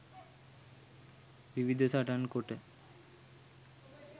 විවිධ සටන් කොට